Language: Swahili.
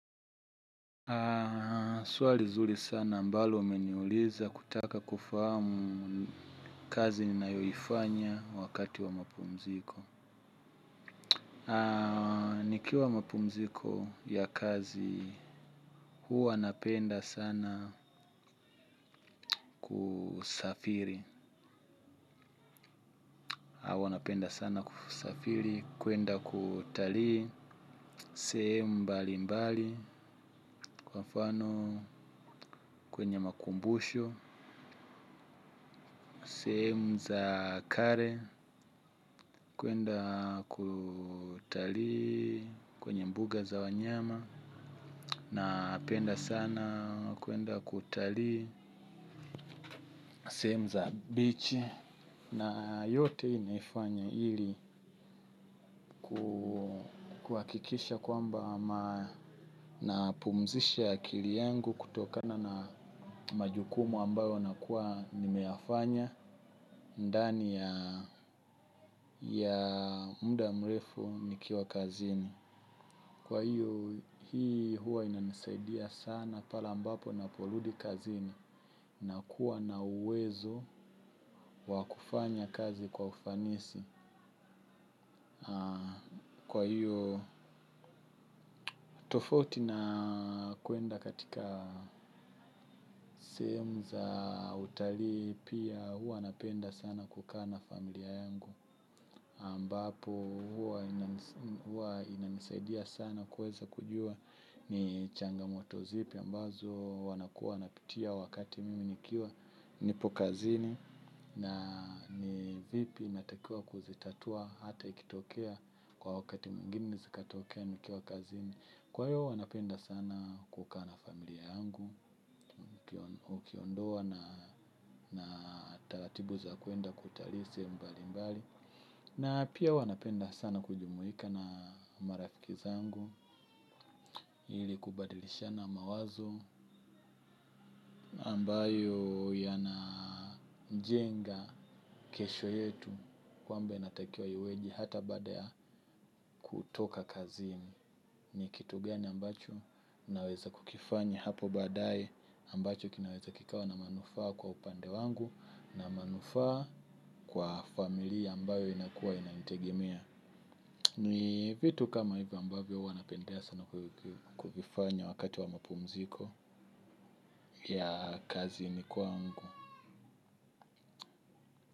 Swali nzuri sana ambalo umeniuliza kutaka kufahamu kazi ninayoifanya wakati wa mapumziko. Nikiwa mapumziko ya kazi huwa napenda sana kusafiri. Huwa napenda sana kusafiri, kuenda kutalii, sehemu mbalimbali, kwa mfano, kwenye makumbusho, sehemu za kale. Kuenda kutalii kwenye mbuga za wanyama. Napenda sana kuenda kutalii sehemu za beach na yote hii naifanya ili kuhakikisha kwamba napumzisha akili yangu kutokana na majukumu ambayo nakuwa nimeyafanya ndani ya muda mrefu nikiwa kazini. Kwa hiyo hii huwa inanisaidia sana pale ambapo ninaporudi kazini, nakuwa na uwezo wa kufanya kazi kwa ufanisi. Kwa hiyo tofauti na kuenda katika sehemu za utalii pia huwa napenda sana kukaa na familia yangu. Ambapo huwa inanisaidia sana kuweza kujua ni changamoto zipi ambazo wanakuwa wanapitia wakati mimi nikiwa nipo kazini na ni vipi natakiwa kuzitatua hata ikitokea kwa wakati mwingine zikatokea nikiwa kazini, kwa hiyo huwa napenda sana kukaa na familia yangu, ukiondoa na taratibu za kuenda kutalii sehemu mbalimbali. Na pia huwa napenda sana kujumuika na marafiki zangu ili kubadilishana mawazo ambayo yanajenga kesho yetu kwamba inatakiwa iweje hata baada ya kutoka kazini ni kitu gani ambacho naweza kukifanya hapo baadaye ambacho kinaweza kikawa na manufaa kwa upande wangu na manufaa kwa familia ambayo inakuwa inanitegemea. Ni vitu kama hivyo ambavyo huwa napendea sana kuvifanya wakati wa mapumziko ya kazini kwangu.